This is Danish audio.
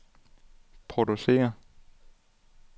producerer